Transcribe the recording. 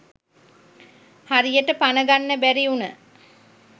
හරියට පන ගන්න බැරි උන